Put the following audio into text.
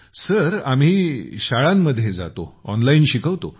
गौरव आम्ही शाळांतून जातो ऑनलाईन शिकवतो